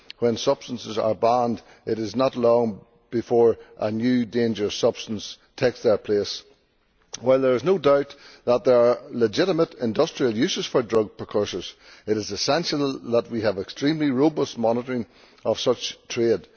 When substances are banned, it is not long before new dangerous substances take their place. While there is no doubt that there are legitimate industrial uses for drug precursors, it is essential that we have extremely robust monitoring of such trade.